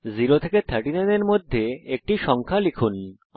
0 এবং 39 এর মধ্যে একটি সংখ্যা লিখুন